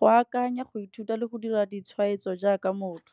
go akanya, go ithuta le go dira ditshwaetso jaaka motho.